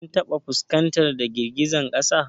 Kin taɓa fuskantar da girgizar kasa?